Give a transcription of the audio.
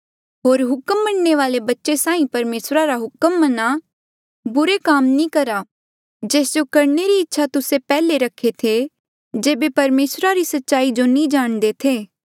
होर हुक्म मनणे वाले बच्चे साहीं परमेसरा रा हुक्म मन्हा बुरे काम नी करहा जेस जो करणे री इच्छा तुस्से पैहले रखे थे जेबे परमेसरा री सच्चाई जो नी जाणदे थे